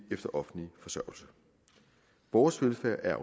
efter offentlig forsørgelse vores velfærd er